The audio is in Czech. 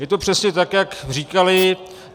Je to přesně tak, jak říkali.